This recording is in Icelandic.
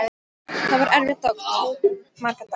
Það var erfitt og tók marga daga.